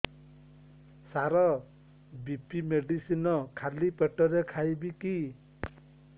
ସାର BP medicine ଖାଲି ପେଟରେ ଖାଇବି କି